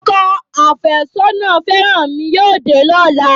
Ọkọ àfẹ́sọ́nà fẹ́rànmi yóò dé lọ́la